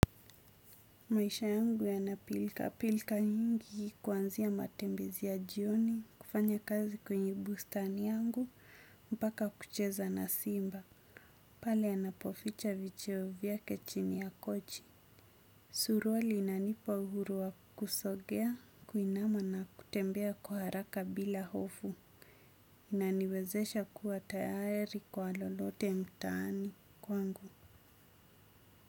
Maisha yangu yana pilika pilika nyingi kuanzia matembezi ya jioni kufanya kazi kwenye bustani yangu mpaka kucheza na simba. Pala anapoficha vicheo vyake chini ya kochi. Suruali inanipa uhuru wa kusogea, kuinama na kutembea kwa haraka bila hofu. Inaniwezesha kuwa tayari kwa lolote mtaani kwangu.